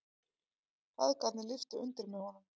Feðgarnir lyftu undir með honum.